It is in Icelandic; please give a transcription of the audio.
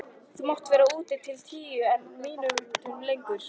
Þú mátt vera úti til tíu en ekki mínútu lengur.